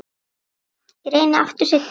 Ég reyni aftur seinna